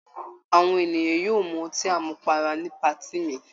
Àwọn ènìyàn yóò mu ọtí àmupara ní patí mi.